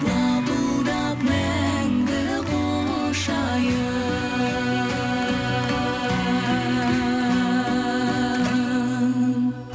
лапылдап мәңгі құшайын